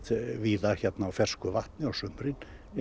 víða hérna á fersku vatni á sumrin